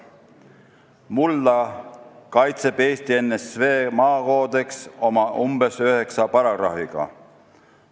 Mulda kaitseb Eesti NSV maakoodeks oma umbes üheksa paragrahviga.